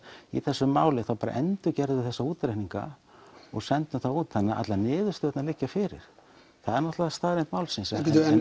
í þessu máli við endurgerðum þessa útreikninga og sendum þá út þannig að allar niðurstöðurnar liggja fyrir það er staðreynd málsins